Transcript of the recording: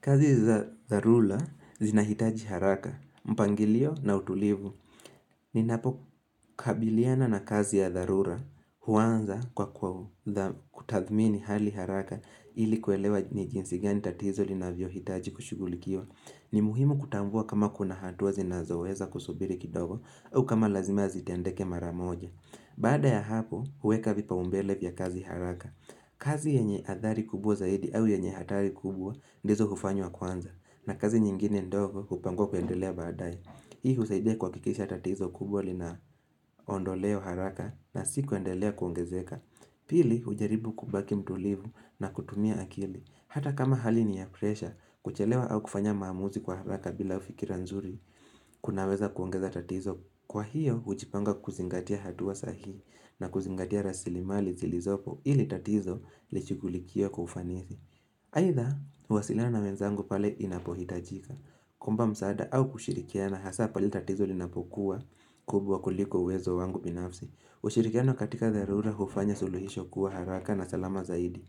Kazi za zarula zinahitaji haraka, mpangilio na utulivu. Ninapo kabiliana na kazi ya dharura, huanza kwa kwa kutathmini hali haraka ili kuelewa ni jinsi gani tatizo linavyo hitaji kushughulikiwa ni muhimu kutambua kama kuna hatua zinazoweza kusubiri kidogo au kama lazima zitendeke maramoja. Bada ya hapo, huweka vipa umbele vya kazi haraka. Kazi yenye athari kubwa zaidi au yenye hatari kubwa ndizo hufanywa kwanza na kazi nyingine ndogo upangwa kuendelea baadae Hii husaidia kuakikisha tatizo kubwa li na ondo leo haraka na sikuendelea kuongezeka Pili hujaribu kubaki mtulivu na kutumia akili Hata kama hali ni ya presha kuchelewa au kufanya maamuzi kwa haraka bila ufikira nzuri kunaweza kuongeza tatizo Kwa hiyo hujipanga kuzingatia hatua sahi na kuzingatia rasili mali zilizopo ili tatizo lishughulikiwe kwa ufanisi. Aidha, huwasilana na wenzangu pale inapohitajika. Kuomba msaada au kushirikia na hasa pale tatizo linapokuwa kubwa kuliko uwezo wangu binafsi. Ushirikiano katika dharura hufanya suluhisho kuwa haraka na salama zaidi.